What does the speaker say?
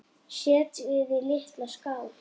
Setjið í litla skál.